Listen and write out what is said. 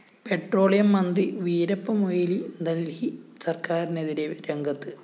petroleum മന്ത്രി വീരപ്പമൊയ്‌ലി ദല്‍ഹി സര്‍ക്കാരിനെതിരെ രംഗത്ത്